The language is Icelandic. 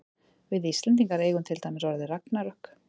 við íslendingar eigum til dæmis orðið ragnarök